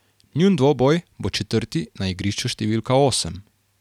Njun dvoboj bo četrti na igrišču številka osem.